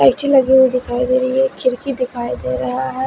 Natural view दिखाई दे रही हैखिड़की दिखाई दे रहा है।